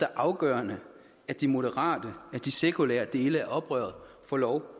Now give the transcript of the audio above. afgørende at de moderate og sekulære dele af oprøret får lov